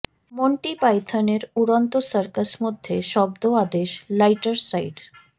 Monty Python এর উড়ন্ত circus মধ্যে শব্দ আদেশ লাইটার সাইড